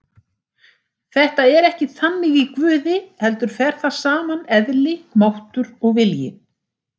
Þetta er ekki þannig í Guði heldur fer þar saman eðli, máttur og vilji.